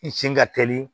I sin ka teli